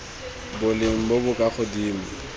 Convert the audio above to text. boleng bo bo kwa godimo